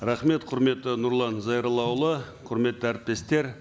рахмет құрметті нұрлан зайроллаұлы құрметті әріптестер